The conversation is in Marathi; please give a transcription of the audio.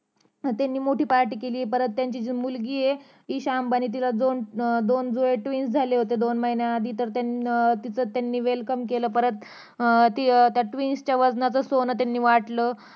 हम्म त्यांनी मोठी पार्टी केली परत त्यांची जी मुलगी ये इशा अंबानी तिला दोन जुळे twince झाले होते दोन महिन्याआधी तिथं त्यांनी तीच welcome केले परत त्या twince च्य वजनाचं सोनं त्यांनी वाटलं